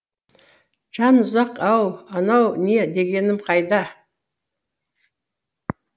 жанұзақ ау анау не дегенім қайда